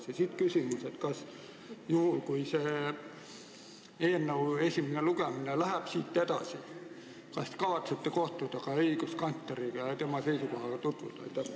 Siit minu küsimus: kas juhul, kui selle eelnõu menetlus läheb edasi, te kavatsete kohtuda ka õiguskantsleriga ja tema seisukohaga tutvuda?